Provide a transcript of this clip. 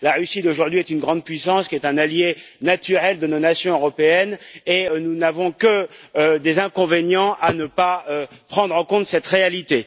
La Russie d'aujourd'hui est une grande puissance qui est un allié naturel de nos nations européennes et nous n'avons que des inconvénients à ne pas tenir compte de cette réalité.